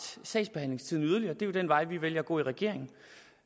sagsbehandlingstiden yderligere det er jo den vej vi vælger at gå i regeringen